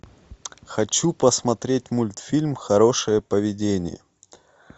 хочу посмотреть мультфильм хорошее поведение